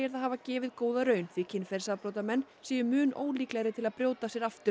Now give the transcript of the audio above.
það hafi gefið góða raun því kynferðisbrotamenn séu mun ólíklegri til að brjóta af sér aftur